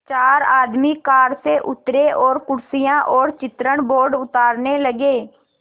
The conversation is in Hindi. चार आदमी कार से उतरे और कुर्सियाँ और चित्रण बोर्ड उतारने लगे